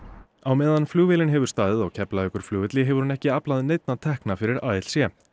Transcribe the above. á meðan flugvélin hefur staðið á Keflavíkurflugvelli hefur hún ekki aflað neinna tekna fyrir ALC